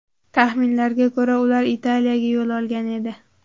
Taxminlarga ko‘ra, ular Italiyaga yo‘l olgan edi.